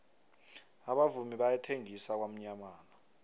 abavumi bayathengisa kwamyamana